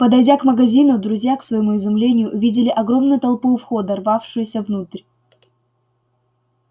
подойдя к магазину друзья к своему изумлению увидели огромную толпу у входа рвавшуюся внутрь